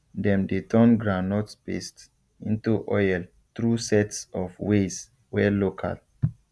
dem dey turn groundnut paste into oil through sets of ways wey local